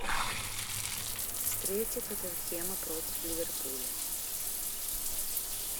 встреча тоттенхэма против ливерпуля